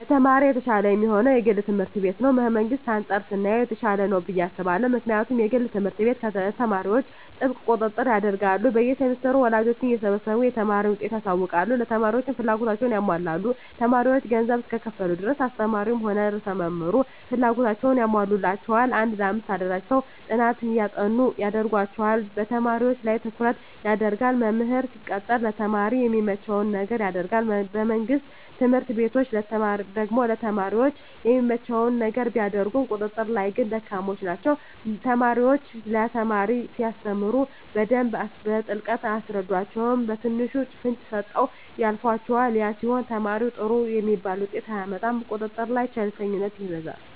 ለተማሪ የተሻለ የሚሆነዉ የግል ትምህርት ቤት ነዉ ከመንግስት አንፃር ስናየዉ የተሻለ ነዉ ብየ አስባለሁ ምክንያቱም የግል ትምህርት ቤት ለተማሪዎች ጥብቅ ቁጥጥር ያደርጋሉ በየ ሴምስተሩ ወላጆችን እየሰበሰቡ የተማሪን ዉጤት ያሳዉቃሉ ለተማሪዎችም ፍላጎታቸዉን ያሟላሉ ተማሪዎች ገንዘብ እስከከፈሉ ድረስ አስተማሪዉም ሆነ ርዕሰ መምህሩ ፍላጎታቸዉን ያሟሉላቸዋል አንድ ለአምስት አደራጅተዉ ጥናት እንዲያጠኑ ያደርጓቸዋል በተማሪዎች ላይ ትኩረት ይደረጋል መምህር ሲቀጠር ለተማሪ የሚመቸዉን ነገር ያደርጋል በመንግስት ትምህርት ቤቶች ደግሞ ለተማሪ የሚመቸዉን ነገር ቢያደርጉም ቁጥጥር ላይ ግን ደካማ ናቸዉ አስተማሪዎች ለተማሪ ሲያስተምሩ በደንብ በጥልቀት አያስረዷቸዉም በትንሹ ፍንጭ ሰጥተዉ ያልፏቸዋል ያ ሲሆን ተማሪዉ ጥሩ የሚባል ዉጤት አያመጣም ቁጥጥር ላይ ቸልተኝነት ይበዛል